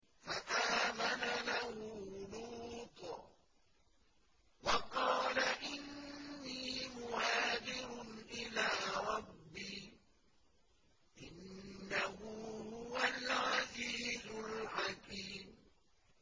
۞ فَآمَنَ لَهُ لُوطٌ ۘ وَقَالَ إِنِّي مُهَاجِرٌ إِلَىٰ رَبِّي ۖ إِنَّهُ هُوَ الْعَزِيزُ الْحَكِيمُ